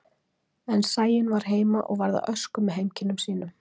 En Sæunn var heima og varð að ösku með heimkynnum sínum.